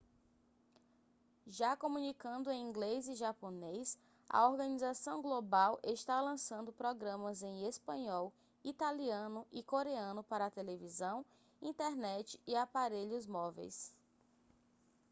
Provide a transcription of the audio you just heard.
já comunicando em inglês e japonês a organização global está lançando programas em espanhol italiano e coreano para televisão internet e aparelhos móveis